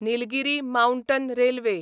Nilgiri mountain railway